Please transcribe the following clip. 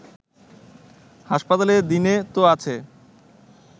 হাসপাতালে দিনে তো আছে